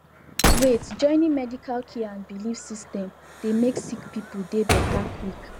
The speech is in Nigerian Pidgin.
waitjoining medical care and bilif system dey mek sik pipul dey beta quick